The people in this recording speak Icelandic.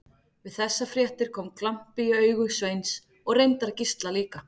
Við þessar fréttir kom glampi í augu Sveins og reyndar Gísla líka.